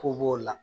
Ko b'o la